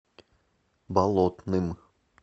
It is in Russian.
болотным